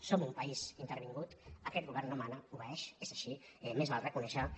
som un país intervingut aquest govern no mana obeeix és així més val reconèixer·ho